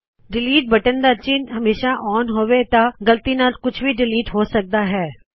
delete delete ਦਾ ਚਿੱਨਹ ਜੇ ਹਮੇਸ਼ਾਂ ਔਨ ਹੋਵੇ ਤਾਂ ਗ਼ਲਤੀ ਨਾਲ਼ ਵੀ ਕੁਛ ਡਿਲੀਟ ਹੋ ਸਕਦਾ ਹੈ